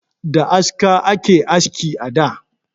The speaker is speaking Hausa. Da aska ake aski a da